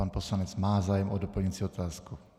Pan poslanec má zájem o doplňující otázku.